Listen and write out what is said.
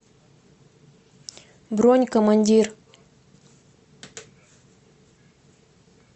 бронь командир